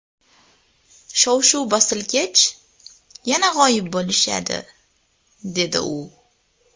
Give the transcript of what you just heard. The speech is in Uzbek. Shov-shuv bosilgach, yana g‘oyib bo‘lishadi”, dedi u.